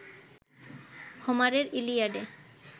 হোমারের ইলিয়াডে